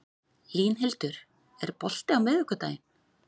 Línhildur, er bolti á miðvikudaginn?